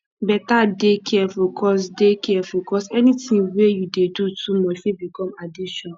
beta dey careful cos dey careful cos anything wey you dey do too much fit become addiction